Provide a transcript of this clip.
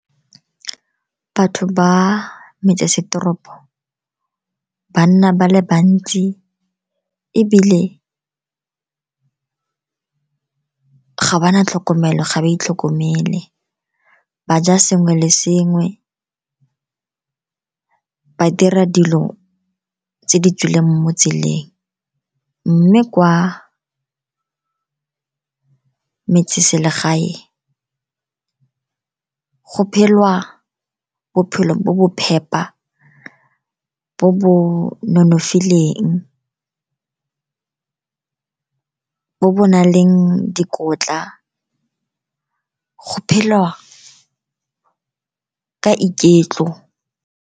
Batho ba metsesetoropo ba nna ba le bantsi, ebile ga ba na tlhokomelo, ga ba itlhokomele. Ba ja sengwe le sengwe, ba dira dilo tse di tswileng mo tseleng. Mme kwa metseselegae go phelwa bophelo bo bo phepa, bo bo nonofileng, bo bo nang le dikotla. Go phelwa ka iketlo.